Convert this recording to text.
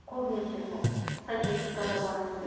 көбінесе сол статистикада бар сондай